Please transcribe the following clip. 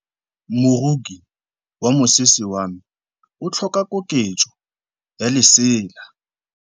Moroki wa mosese wa me o tlhoka koketsô ya lesela.